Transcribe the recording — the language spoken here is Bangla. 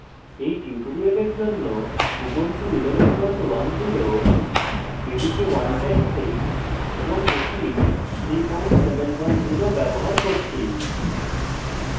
এই tutorial জন্য